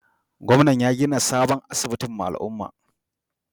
Gwamnan ya gina sabon asibiti ma al'umman.